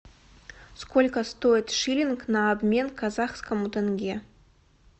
сколько стоит шиллинг на обмен к казахскому тенге